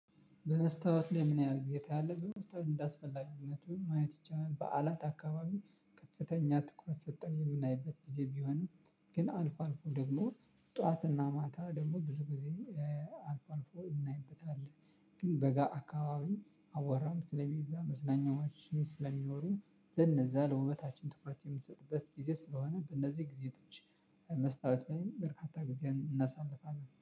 በመስታወት ላይ ምን ያህል ጊዜ ታያለህ? በመስታወት እንዳስፈላጊነቱን ማየት ይቻላል በዓላት አካባቢ ከፍተኛ ትኩረት ሰተን የምናይበት ጊዜ ቢሆንም ግን አልፎ አልፎ ደግሞ ጠዋትና ማታ ደግሞ ብዙ ጊዜ። አልፎ አልፎ እናይበታለን። ግን በጋ አካባቢ አቧራም ስለሚዛ መዝናኛዎች ስለሚኖሩ ለነዛ ለውበታችን ትኩረት ምትሰጥበት ጊዜ ስለሆነ በእነዚህ ጊዜዎች መስታወት ላይም በርካታ ጊዜ እናሳልፋለን